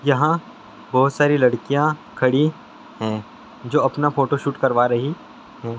यहा बहुत सारी लड़किया खड़ी है जो अपना फोटो शूट करवा रह है।